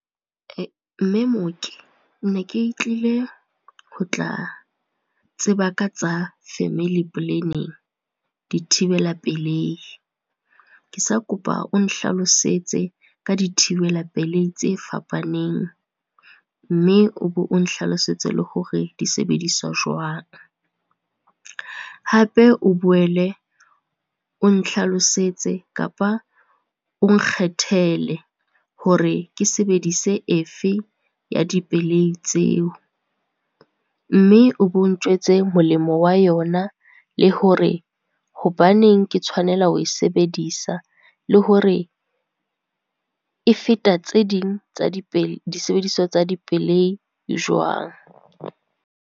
Mme mooki ne ke tlile ho tla tseba ka tsa family planning, dithibela pelei. Ke sa kopa o nhlalosetse ka dithibela pelei tse fapaneng, mme o be o nhlalosetse le hore di sebediswa jwang. Hape o boele, o nhlalosetse kapa o nkgethele hore ke sebedise efe ya dipelei tseo, mme o bo ntjwetse molemo wa yona le hore hobaneng ke tshwanela ho e sebedisa, le hore e feta tse ding tsa di , di sebediswa tsa dipelei jwang.